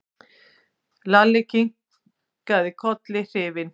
Lalli kinkaði kolli hrifinn.